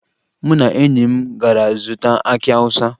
Mụ na enyi m gara zụta akị Awụsa